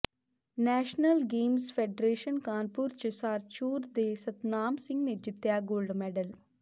national games federation Kanpur ਚ ਸਾਰਚੂਰ ਦੇ ਸਤਨਾਮ ਸਿੰਘ ਨੇ ਜਿੱਤਿਆ ਗੋਲਡ ਮੈਡਲ